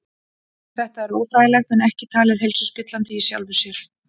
Þetta er óþægilegt en ekki talið heilsuspillandi í sjálfu sér.